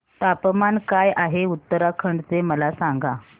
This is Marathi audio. तापमान काय आहे उत्तराखंड चे मला सांगा